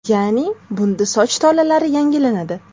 Ya’ni, bunda soch tolalari yangilanadi.